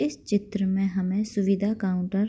इस चित्र में हमें सुविधा काउंटर --